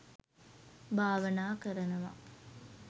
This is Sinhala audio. භාවනා කරනවා